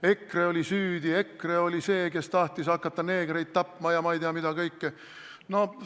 EKRE oli süüdi, EKRE oli see, kes tahtis hakata neegreid tapma ja ma ei tea, mida kõike!